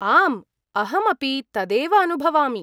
आम्, अहमपि तदेव अनुभवामि।